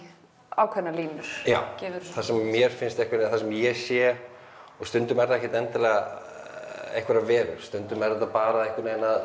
ákveðnar línur já það sem mér finnst einhvern það sem ég sé stundum er það ekkert endilega einhverjar verur stundum er þetta bara einhvern veginn að